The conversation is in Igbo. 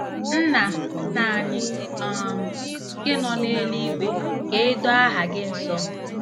“Nna “Nna anyị um nke nọ n’eluigwe, ka e doo aha gị nsọ.